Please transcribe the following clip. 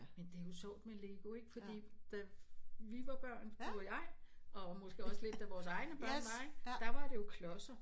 Men det jo sjovt med lego ikke fordi da vi var børn du og jeg og måske også lidt da vores egne børn var ikke der var det jo klodser